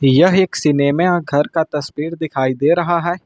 यह एक सिनेमा घर का तस्वीर दिखाई दे रहा है।